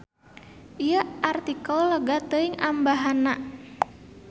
Ieu artikel lega teuing ambahanna.